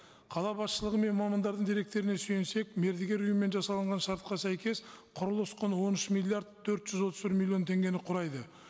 қала басышылығы мен мамандардың деректеріне сүйенсек мердігер ұйымымен жасалынған шартқа сәйкес құрылыс құны он үш миллиард төрт жүз отыз бір миллион теңгені құрайды